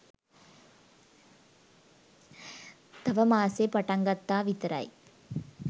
තාම මාසෙ පටන්ගත්තා විතරයි